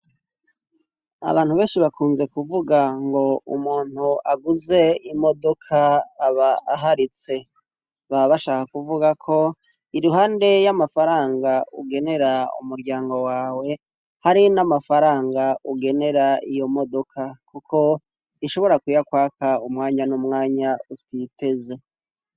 Abantu benshi bakunze kuvuga ngo umuntu aguze imodoka aba aharitse ba bashaka kuvuga ko iruhande y'amafaranga ugenera umuryango wawe hari n'amafaranga ugenera iyo modoka, kuko ishobora kwiyakwaka umwanya n’umwanya utiteze.